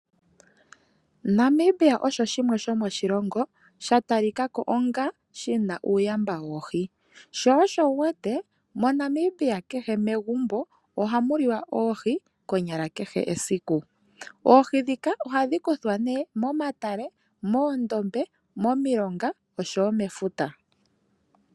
Namibia osho shimwe shomoshilongo sha talika ko onga shina uuyamba woohi. Sho osho wuwete moNamibia kehe megumbo ohamu liwa oohi konyala esiku kehe. Oohi ndhika ohadhi kuthwa nee momatale, moondombe, momilonga oshowo mefuta.